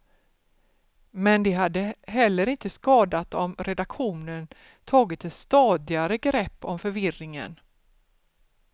Men det hade heller inte skadat om redaktionen tagit ett stadigare grepp om förvirringen.